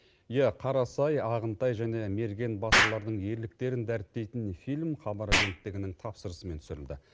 иә қарасай ағынтай және мерген батырлардың ерліктерін дәріптейтін фильм хабар агенттігінің тапсырысымен түсірілді